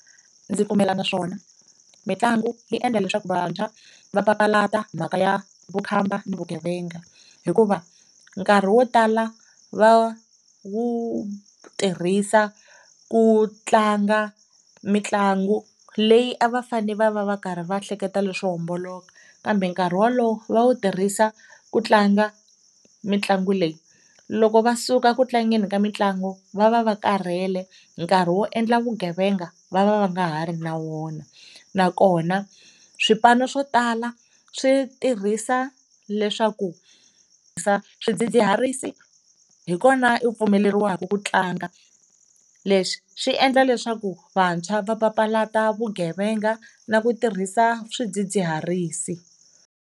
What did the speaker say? Ndzi na swona mitlangu yi endla leswaku vantshwa va papalata mhaka ya vukhamba ni vugevenga hikuva nkarhi wo tala va wu tirhisa ku tlanga mitlangu leyi a va fane va va va karhi va hleketa leswo homboloka kambe nkarhi wolowo va wu tirhisa ku tlanga mitlangu leyi, loko va suka ku tlangeni ka mitlangu va va va karhel, nkarhi wo endla vugevenga va va va nga ha ri na wona. Nakona swipano swo tala swi tirhisa leswaku swidzidziharisi hi kona u pfumeleriweke ku tlanga leswi swi endla leswaku vantshwa va papalata vugevenga na ku tirhisa swidzidziharisi.